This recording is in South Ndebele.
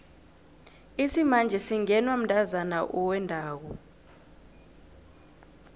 isimanje singenwa mntazana owendako